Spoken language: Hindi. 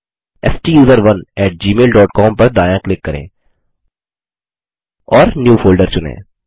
स्टूसरोन एटी जीमेल डॉट कॉम पर दायाँ क्लिक करें और न्यू फोल्डर चुनें